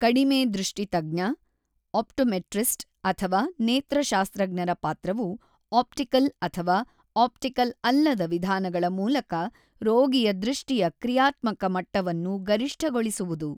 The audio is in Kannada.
ಕಡಿಮೆ ದೃಷ್ಟಿ ತಜ್ಞ, ಆಪ್ಟೋಮೆಟ್ರಿಸ್ಟ್ ಅಥವಾ ನೇತ್ರಶಾಸ್ತ್ರಜ್ಞರ ಪಾತ್ರವು ಆಪ್ಟಿಕಲ್ ಅಥವಾ ಆಪ್ಟಿಕಲ್ ಅಲ್ಲದ ವಿಧಾನಗಳ ಮೂಲಕ ರೋಗಿಯ ದೃಷ್ಟಿಯ ಕ್ರಿಯಾತ್ಮಕ ಮಟ್ಟವನ್ನು ಗರಿಷ್ಠಗೊಳಿಸುವುದು.